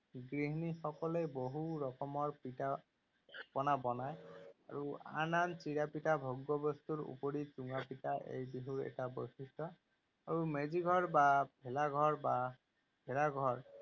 গৃহিণী সকলে বহু ৰকমৰ পিঠা পনা বনায় আৰু আন আন চিৰা পিঠা ভোগ্য বস্তুৰ উপৰিও চুঙা পিঠা এই বিহুৰ এটা বৈশিষ্ট। আৰু মেজি ঘৰ বা ভেলা ঘৰ বা ঘৰ